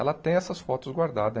Ela tem essas fotos guardadas.